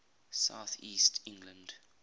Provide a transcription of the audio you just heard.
south east england